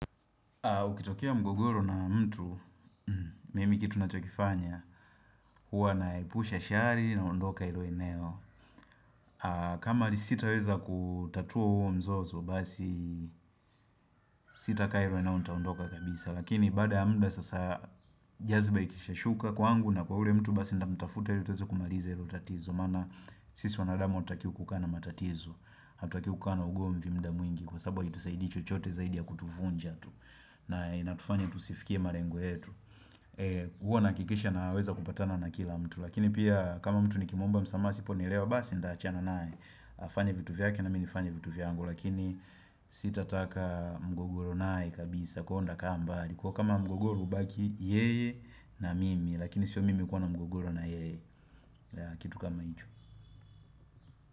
Kukitokea mgogoro na mtu, mimi kitu na chokifanya, huwa naepusha shari na ondoka ilo eneo. Kama ni sitaweza kutatua huo mzozo, basi sita kaa ilo eneo nitaondoka kabisa. Lakini baada ya mda sasa jaziba ikisha shuka kwangu na kwa ule mtu basi nitamutafuta ili tuweze kumaliza ilo tatizo. Maana sisi wanadamu hatutaki kukaa na matatizo, hatutaki kukaa na ugo mvimda mwingi. Kwa sababu haitusaidii chochote zaidi ya kutuvunja tu na inatufanya tusifikie marengo yetu huwa nahakikisha na weza kupatana na kila mtu lakini pia kama mtu nikimuomba asipo nielewa basi nitaachana naye afanye vitu vyake na minifanye vitu vyangu lakini sitataka mgogoro naye kabisa kwaio nikaa mbali kuwa kama mgogoro ubaki yeye na mimi lakini sio mimi kuwana mgogoro na yeye kitu kama hicho.